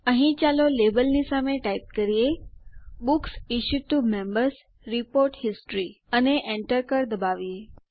અહીં ચાલો ટાઈપ કરીએ books issued to Members report history લેબલની સામે અને Enter દબાવીએ